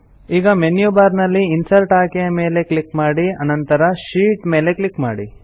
ಈಗ menu bar ನಲ್ಲಿ insert ಆಯ್ಕೆಯ ಮೇಲೆ ಕ್ಲಿಕ್ ಮಾಡಿ ನಂತರ ಶೀಟ್ ಮೇಲೆ ಕ್ಲಿಕ್ ಮಾಡಿ